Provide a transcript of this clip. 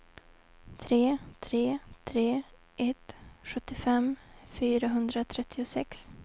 tre tre tre ett sjuttiofem fyrahundratrettiosex